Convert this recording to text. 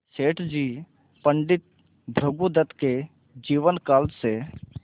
सेठ जी पंडित भृगुदत्त के जीवन काल से